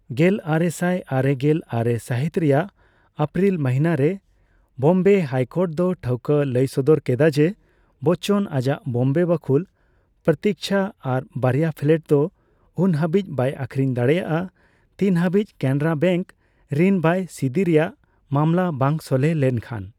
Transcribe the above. ᱜᱮᱞᱟᱨᱮᱥᱟᱭ ᱟᱨᱮᱜᱮᱞ ᱟᱨᱮ ᱥᱟᱦᱤᱛ ᱨᱮᱭᱟᱜ ᱮᱯᱨᱤᱞ ᱢᱚᱦᱤᱱᱟ ᱨᱮ, ᱵᱚᱢᱵᱮ ᱦᱟᱭᱠᱚᱨᱴ ᱫᱚ ᱴᱷᱟᱹᱣᱠᱟᱹ ᱞᱟᱹᱭ ᱥᱚᱫᱚᱨ ᱠᱮᱫᱟ ᱡᱮ ᱵᱚᱪᱚᱱ ᱟᱡᱟᱜ ᱵᱚᱢᱵᱮ ᱵᱟᱹᱠᱷᱩᱞ 'ᱯᱨᱚᱛᱤᱪᱷᱟ' ᱟᱨ ᱵᱟᱨᱭᱟ ᱯᱷᱮᱞᱮᱴ ᱫᱚ ᱩᱱ ᱦᱟᱹᱵᱤᱡ ᱵᱟᱭ ᱟᱹᱠᱷᱨᱤᱱ ᱫᱟᱲᱮᱭᱟᱜᱼᱟ ᱛᱤᱱ ᱦᱟᱹᱵᱤᱡ ᱠᱮᱱᱨᱟ ᱵᱮᱱᱠ ᱨᱤᱱ ᱵᱟᱭ ᱥᱤᱫᱤ ᱨᱮᱭᱟᱜ ᱢᱟᱢᱞᱟ ᱵᱟᱝ ᱥᱚᱞᱦᱮ ᱞᱮᱱᱠᱷᱟᱱ ᱾